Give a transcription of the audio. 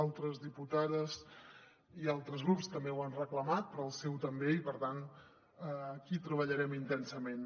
altres diputades i altres grups també ho han reclamat però el seu també i per tant aquí hi treballarem intensament